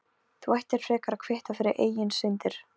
Þú ættir frekar að kvitta fyrir eigin syndir.